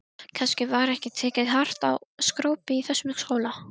Kannski var ekki tekið hart á skrópi í þessum skóla.